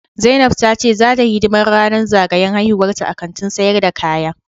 Zainab ta ce zata yi hidiman ranan zagayan haihuwanta a Kantin sayar da kaya.